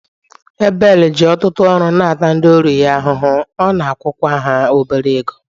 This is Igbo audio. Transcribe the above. Ebel ji ọtụtụ ọrụ na-ata ndị ọrụ ya ahụhụ, ọ na-akwụkwa ha obere ego